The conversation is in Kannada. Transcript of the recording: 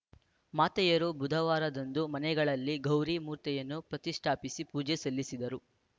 ಮಾತೆಯರು ಬುಧವಾರದಂದು ಮನೆಗಳಲ್ಲಿ ಗೌರಿ ಮೂರ್ತಿಯನ್ನು ಪ್ರತಿಷ್ಟಾಪಿಸಿ ಪೂಜೆ ಸಲ್ಲಿಸಿದರು